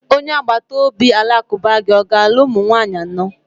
Onye agbata obi Alakụba gi ọ ga-alụ ụmụ nwaanyị anọ?